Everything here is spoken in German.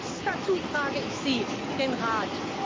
Haben Sie Lust dazu? Das frage ich Sie, den Rat.